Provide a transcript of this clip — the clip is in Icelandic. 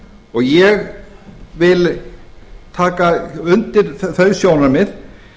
og ég vil taka undir þau sjónarmið